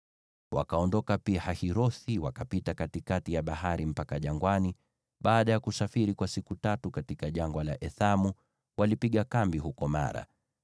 Wakaondoka Pi-Hahirothi wakapita katikati ya bahari mpaka jangwani, na baada ya kusafiri kwa siku tatu katika Jangwa la Ethamu, walipiga kambi huko Mara.